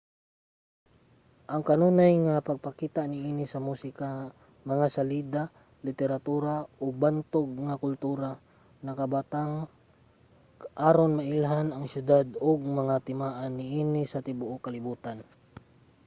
ang kanunay nga pagpakita niini sa musika mga salida literatura ug bantog nga kultura nakabatang aron mailhan ang siyudad ug mga timaan niini sa tibuok kalibotan